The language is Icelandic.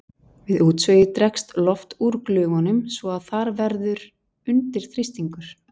Við útsogið dregst loft úr glufunum svo að þar verður undirþrýstingur.